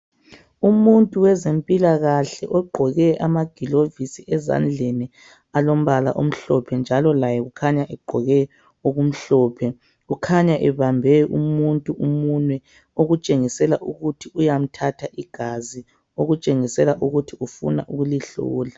Umuntu wezempilakahle ogqoke amagilovisi ezandleni alombala omhlophe njalo laye ukhanya egqoke okumhlophe, kukhanya ebambe umuntu umunwe okutshengisela ukuthi uyamthatha igazi okutshengisela ukuthi ufuna ukulihlola.